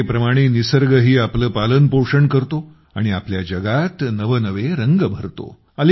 मातेप्रमाणे निसर्गही आपले पालन पोषण करतो आणि आपल्या जगात नवनवे रंग भरतो